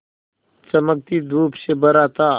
चमकती धूप से भरा था